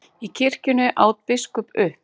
Í kirkjunni, át biskup upp.